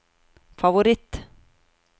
favoritt